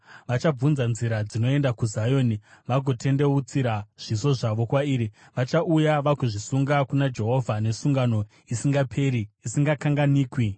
Vachabvunza nzira inoenda kuZioni, vagotendeutsira zviso zvavo kwairi. Vachauya vagozvisunga kuna Jehovha, nesungano isingaperi isingakanganwiki.